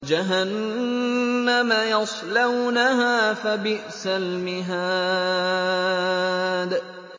جَهَنَّمَ يَصْلَوْنَهَا فَبِئْسَ الْمِهَادُ